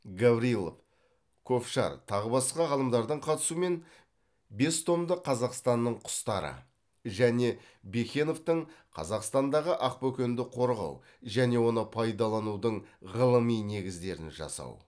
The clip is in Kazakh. гаврилов ковшарь тағы басқа ғалымдардың қатысуымен бес томдық қазақстанның құстары және бекеновтың қазақстандағы ақ бөкенді қорғау және оны пайдаланудың ғылыми негіздерін жасау